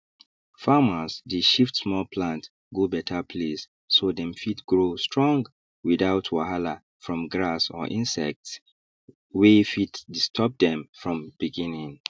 farmers dey shift small plant go better place so dem fit grow strong without wahala from grass or insects wey fit disturb dem from beginning